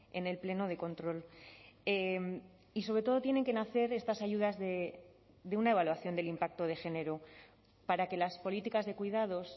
en el pleno de control y sobre todo tienen que nacer estas ayudas de una evaluación del impacto de género para que las políticas de cuidados